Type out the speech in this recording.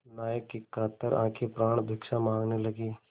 नायक की कातर आँखें प्राणभिक्षा माँगने लगीं